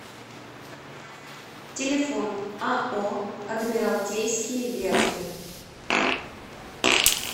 телефон ао адмиралтейские верфи